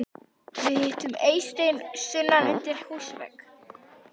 Við hittum Eystein sunnan undir húsvegg.